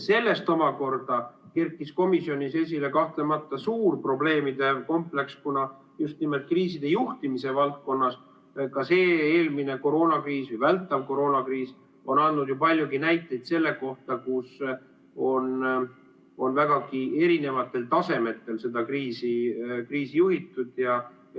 Sellest omakorda kerkis komisjonis esile suur probleemide kompleks, kuna just nimelt kriiside juhtimise valdkonnas see eelmine koroonakriis, vältav koroonakriis, on andnud ju palju näiteid selle kohta, kus on vägagi erinevatel tasemetel seda kriisi juhitud.